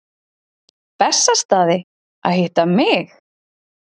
Bessastaði að hitta mig?